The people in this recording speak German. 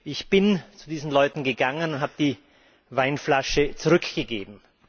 Ich bin zu diesen Leuten gegangen und habe die Weinflasche zurückgegeben.